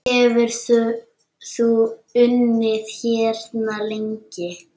Hefurðu unnið hérna lengi?